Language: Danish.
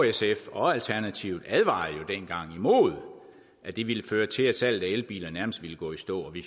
sf og alternativet advarede jo dengang imod at det ville føre til at salget af elbiler nærmest ville gå i stå og vi